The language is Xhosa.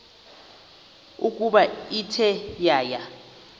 ukuba ithe yaya